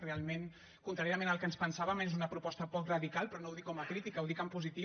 realment contràriament al que ens pensàvem és una proposta poc radical però no ho dic com a crítica ho dic en positiu